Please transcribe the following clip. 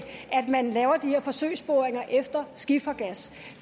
man laver de her forsøgsboringer efter skifergas